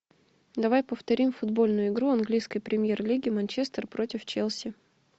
давай повторим футбольную игру английской премьер лиги манчестер против челси